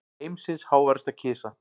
Heimsins háværasta kisa